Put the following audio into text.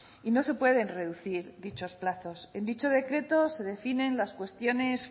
y no se pueden reducir dichos plazos en dicho decreto se definen las cuestiones